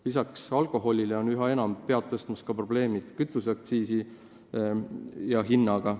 Lisaks alkoholiprobleemile on üha enam pead tõstmas ka probleemid kütuseaktsiisi ja -hinnaga.